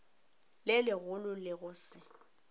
le legolo le go se